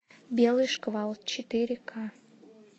белый шквал четыре ка